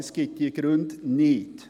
Es gibt keine Gründe dafür.